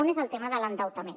un és el tema de l’endeutament